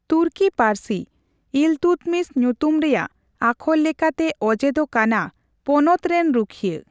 ᱛᱩᱨᱠᱤ ᱯᱟᱹᱨᱥᱤ ᱤᱞᱛᱩᱫᱢᱤᱥ ᱧᱩᱛᱩᱢ ᱨᱮᱭᱟᱜ ᱟᱠᱷᱚᱨ ᱞᱮᱠᱟᱛᱮ ᱚᱡᱮ ᱫᱚ ᱠᱟᱱᱟ ᱯᱚᱱᱚᱛ ᱨᱮᱱ ᱨᱩᱠᱷᱤᱭᱟᱹ᱾